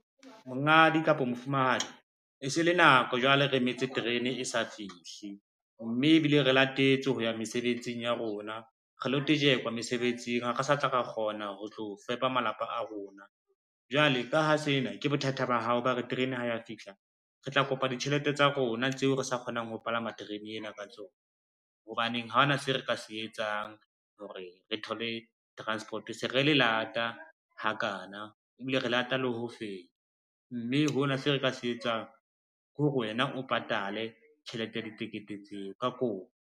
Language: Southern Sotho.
Monghadi kapo mofumahadi, e se le nako jwale re emetse terene e sa fihle, mme ebile re latetswe ho ya mesebetsing ya rona, re lo tejekwa mesebetsing ha re sa tla ra kgona ho tlo fepa malapa a rona. Jwale ka ha sena ke bothata ba hao, bao re terene ho ya fihla re tla kopa ditjhelete tsa rona tseo re sa kgonang ho palama terene ena ka tsona. Hobaneng ha ona seo re ka se etsang hore re thole transport-o, se re le lata hakana ebile re lata le ho feta, mme hona seo re ka se etsang ke hore wena o patale tjhelete ya ditekete tseo ka kopo.